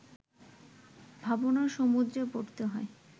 ভাবনার সমুদ্রে পড়তে হয়